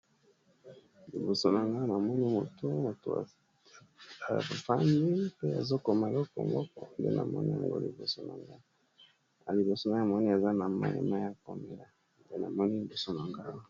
Liboso na nga na moni moto moto a kofandi mpe azokoma eloko moko nde na moni yango liboso na nga na liboso na ya moni aza na moema ya komela nde na moni liboso na ngana